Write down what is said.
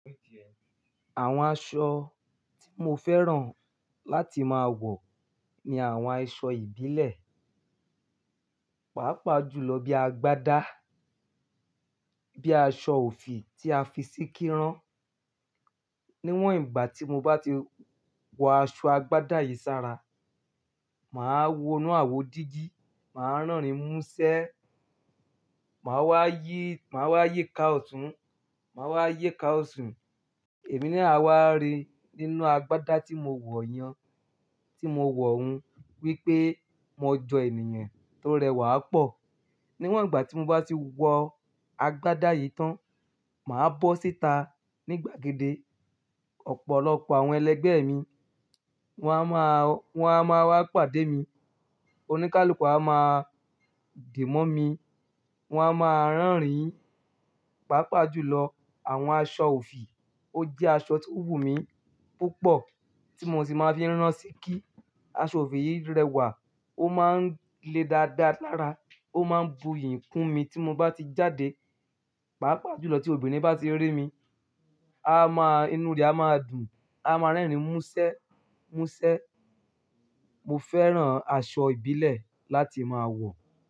Àwọn aṣọ tí mo fẹ́ràn láti máa wọ̀ ni àwọn aṣọ ìbílẹ̀, pàápàá jùlọ bí i agbádá, bí aṣọ òfì tí a fi síkí rán. Niwon igba ti mo ba ti wo aso agbada yii sara, maa wo inu awo digi, maa rerin muse, maa wa yika otun maa yika osi. Ẹ̀mí naa a wa rí nínú agbádá tí mo wọ̀ yẹn, tí mo wọ̀ hun wípé mo jọ ènìyàn tó rẹwà pọ̀. Níwọ̀n ìgbà tí mo bá ti wọ agbádá yìí tán, màá bọ́ síta ní gbàgede. Ọ̀pọ̀lọpọ̀ àwọn ẹlẹgbẹ́ mi wọ́n á máa, wọ́n á máa wá pàdé mi. Oníkálukú a máa di mọ́ mi, wọ́n á máa rànríìn. Pàápàá jùlọ àwọn aṣọ òfì ó jẹ́ aṣọ tí ó wù mí púpọ̀ tí mo sì máa ń fi rán ṣíkí. Aṣọ òfì yìí rẹwạ̀, ó máa ń le dáadáa lára, ó máa ń bu iyì kún mi tí mo bá ti jáde. Pàápàá jùlọ tí obìnrin bá ti rí mi, a máa, inúu rẹ̀ á máa dùn, á máa rẹ́rìn mú ṣẹ́, mú ṣẹ́. Mo fẹ́ràn aṣọ ìbílẹ̀ láti máa wọ̀.